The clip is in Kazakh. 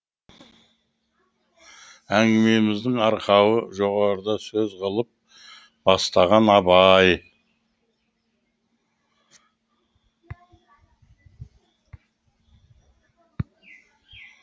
әңгімеміздің арқауы жоғарыда сөз қылып бастаған абай